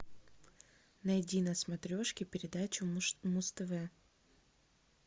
найди на смотрешке передачу муз тв